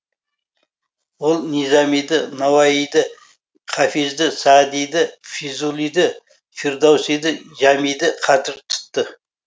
ол низамиді науаиді хафизді саадиді фзулиді фирдоусиді жәмиді қадір тұтты